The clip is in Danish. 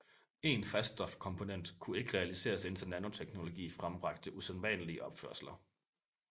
En faststof komponent kunne ikke realiseres indtil nanoteknologi frembragte usædvanlige opførsler